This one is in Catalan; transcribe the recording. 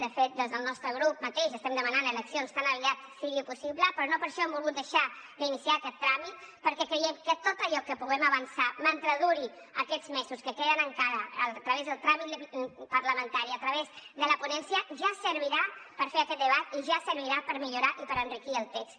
de fet des del nostre grup mateix estem demanant eleccions tan aviat com sigui possible però no per això hem volgut deixar d’iniciar aquest tràmit perquè creiem que tot allò que puguem avançar mentre duri aquests mesos que queden encara a través del tràmit parlamentari a través de la ponència ja servirà per fer aquest debat i ja servirà per millorar i per enriquir el text